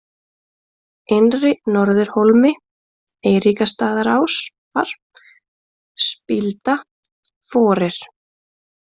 Innri-Norðurhólmi, Eiríksstaðaásar, Spílda, Forir